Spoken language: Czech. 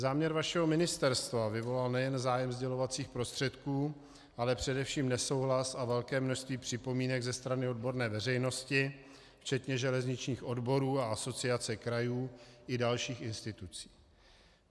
Záměr vašeho ministerstva vyvolal nejen zájem sdělovacích prostředků, ale především nesouhlas a velké množství připomínek ze strany odborné veřejnosti včetně železničních odborů a Asociace krajů i dalších institucí.